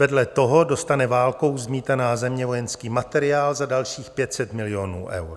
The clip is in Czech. Vedle toho dostane válkou zmítaná země vojenský materiál za dalších 500 milionů eur.